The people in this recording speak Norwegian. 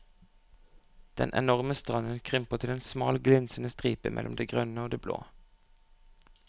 Den enorme stranden krymper til en smal glinsende stripe mellom det grønne og det blå.